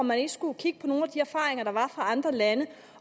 man ikke skulle kigge på nogle af de erfaringer der var fra andre lande